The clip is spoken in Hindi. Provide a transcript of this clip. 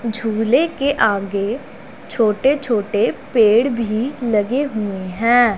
झूले के आगे छोटे छोटे पेड़ भी लगे हुए हैं।